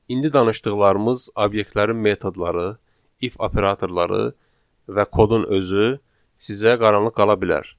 İndi danışdıqlarımız obyektlərin metodları, if operatorları və kodun özü sizə qaranlıq qala bilər.